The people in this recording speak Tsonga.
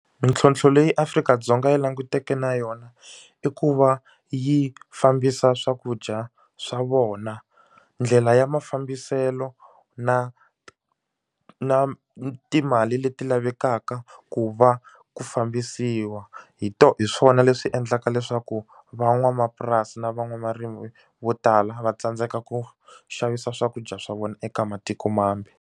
Mintlhontlho leyi Afrika-Dzonga yi langutaneke na yona i ku va yi fambisa swakudya swa vona ndlela ya mafambiselo na na timali leti lavekaka ku va ku fambisiwa hi hi swona leswi endlaka leswaku van'wamapurasi na van'wavarimi vo tala va tsandzeka ku xavisa swakudya swa vona eka matiko mambe.